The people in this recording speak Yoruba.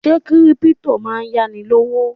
Ṣé Kírípútò máa ń yá ni lówó?